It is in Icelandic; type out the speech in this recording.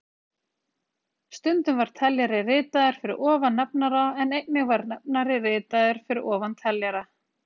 Stundum var teljari ritaður fyrir ofan nefnara en einnig var nefnari ritaður fyrir ofan teljara.